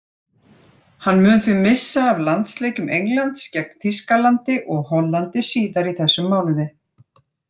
Hann mun því missa af landsleikjum Englands gegn Þýskalandi og Hollandi síðar í þessum mánuði.